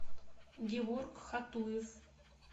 геворг хатуев